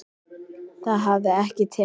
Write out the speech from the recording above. Það hafi ekki tekist.